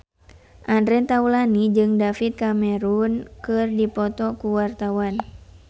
Andre Taulany jeung David Cameron keur dipoto ku wartawan